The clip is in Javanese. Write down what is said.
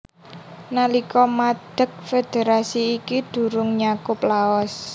Nalika madeg federasi iki durung nyakup Laos